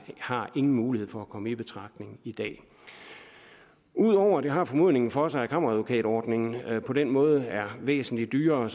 har ingen mulighed for at komme i betragtning i dag ud over at det har formodningen for sig at kammeradvokatordningen på den måde er væsentlig dyrere